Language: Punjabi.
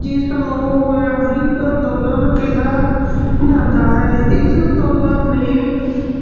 ਜਿਸਨੂੰ ਅੰਦੋਲਨ ਕਿਹਾ ਜਾਂਦਾ ਹੈ ਇਸ ਅੰਦੋਲਨ ਨੇ